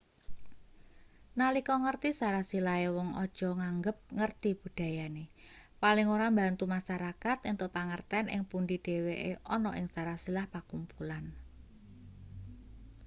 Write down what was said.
nalika ngerti sarasilahe wong aja nganggep ngerti budayane paling ora mbantu masarakat entuk pangerten ing pundi dheweke ana ing sarasilah pakumpulan